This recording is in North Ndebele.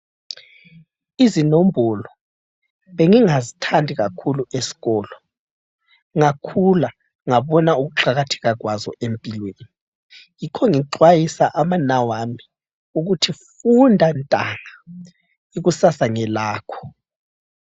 Izinombolo bengingazithandi kakhulu esikolo, ngakhula ngabona ukuqakatheka kwazo empilweni. Yikho ngixwayisa abanawami ukuthi, funda mntwana ikusasa ngelakho.